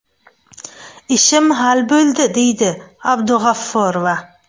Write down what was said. Ishim hal bo‘ldi”, deydi Sh.Abdug‘afforova.